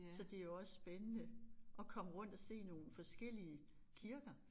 Så det jo også spændende at komme rundt og se nogle forskellige kirker